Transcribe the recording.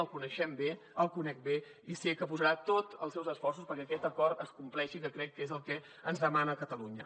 el coneixem bé el conec bé i sé que posarà tots els seus esforços perquè aquest acord es compleixi que crec que és el que ens demana catalunya